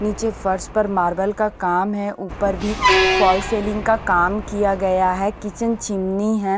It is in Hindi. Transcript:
नीचे फर्स्ट पर मार्बल का काम है ऊपर भी फॉल सेलिंग का काम किया गया है किचन चिमनी है।